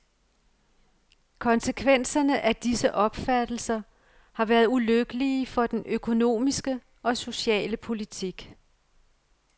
Konsekvenserne af disse opfattelser har været ulykkelige for den økonomiske og sociale politik.